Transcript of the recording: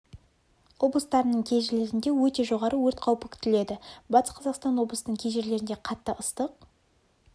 облыстарының кей жерлерінде өте жоғары өрт қаупі күтіледі батыс қазақстан облысының кей жерлерінде қатты ыстық